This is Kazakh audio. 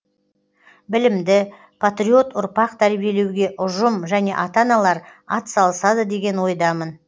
білімді патриот ұрпақ тәрбиелеуге ұжым және ата аналар атсалысады деген ойдамын